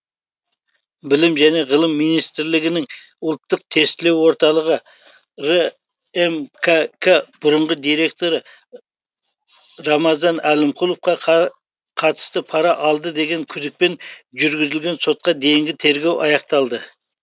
білім және ғылым министрлігінің ұлттық тестілеу орталығы рмкк бұрынғы директоры рамазан әлімқұловқа қатысты пара алды деген күдікпен жүргізілген сотқа дейінгі тергеу аяқталды